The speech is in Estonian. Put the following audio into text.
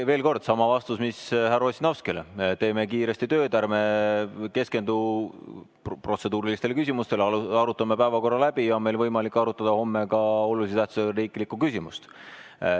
Veel kord sama vastus, mis härra Ossinovskile: teeme kiiresti tööd, ärme keskendu protseduurilistele küsimustele, arutame päevakorra läbi ja siis on meil võimalik arutada homme ka olulise tähtsusega riiklikku küsimust.